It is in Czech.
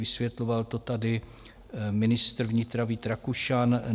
Vysvětloval to tady ministr vnitra Vít Rakušan.